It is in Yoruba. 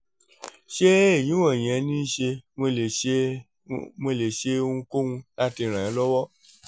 ṣé èyí wọ̀nyẹn ni ṣé mo lè ṣé mo lè ṣe ohunkóhun láti ràn án lọ́wọ́?